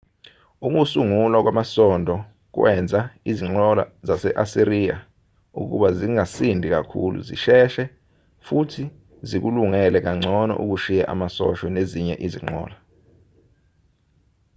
ukusungulwa kwamasondo kwenza izinqola zase-asiriya ukuba zingasindi kakhulu zisheshe futhi zikulungele kangcono ukushiya amasosha nezinye izinqola